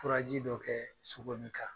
Furaji dɔ kɛ sogo nin kan